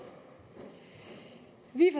vi